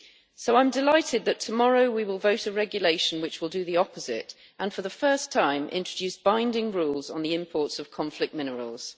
So I am delighted that tomorrow we will vote on a regulation which will do the opposite, and for the first time introduce binding rules on the imports of conflict minerals.